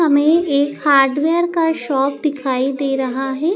हमें एक hardware shop दिखाई दे रहा है।